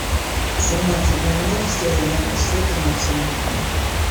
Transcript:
в семнадцать ноль ноль сделай яркость света максимум